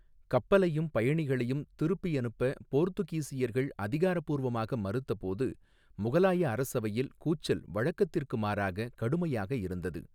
கப்பலையும் பயணிகளையும் திருப்பி அனுப்ப போர்த்துகீஸியர்கள் அதிகாரப்பூர்வமாக மறுத்தபோது, முகலாய அரசவையில் கூச்சல் வழக்கத்திற்கு மாறாக கடுமையாக இருந்தது.